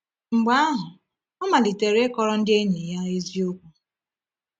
Mgbe ahụ, ọ malitere ịkọrọ ndị enyi ya eziokwu.